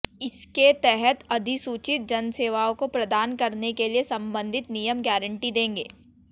इसके तहत अधिसूचित जनसेवाओं को प्रदान करने के लिए संबंधित नियम गारंटी देंगे